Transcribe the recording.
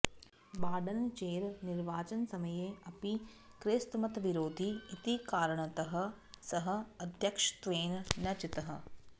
बाडन् चेर् निर्वाचनसमये अपि क्रैस्तमतविरोधी इति कारणतः सः अध्यक्षत्वेन न चितः